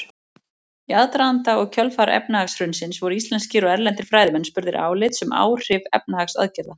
Í aðdraganda og kjölfar efnahagshrunsins voru íslenskir og erlendir fræðimenn spurðir álits um áhrif efnahagsaðgerða.